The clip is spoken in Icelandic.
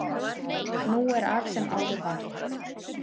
Nú er af sem áður var